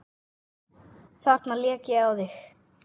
Þarna lék ég á þig!